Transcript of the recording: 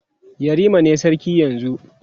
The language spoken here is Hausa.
yarima ne sarki yanzun